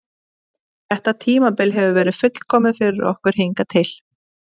Þetta tímabil hefur verið fullkomið fyrir okkur hingað til.